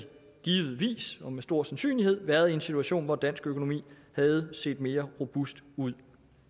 givetvis og med stor sandsynlighed været i en situation hvor dansk økonomi havde set mere robust ud